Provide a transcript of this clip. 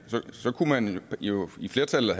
så kunne man jo i flertallet